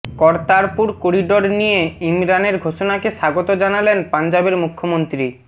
Kartarpur corridor নিয়ে ইমরানের ঘোষণাকে স্বাগত জানালেন পাঞ্জাবের মুখ্যমন্ত্রী